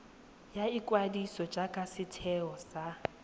ya ikwadiso jaaka setheo sa